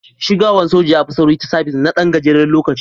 Shigawan soja ya fi sauri ta sabis na Dan gajeren lokaci.